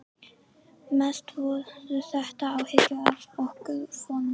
Mest voru þetta áhyggjur af okkar formföstu